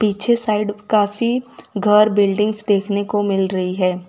पीछे साइड काफी घर बिल्डिंग्स देखने को मिल रही है।